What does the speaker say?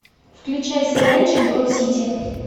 включай сериальчик брод сити